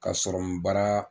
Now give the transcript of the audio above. Kaa sɔrɔmun bara.